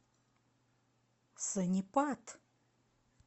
сонипат